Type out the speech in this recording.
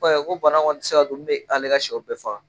ko bana ti se ka don min bɛ ale ka siyɛw bɛɛ faga.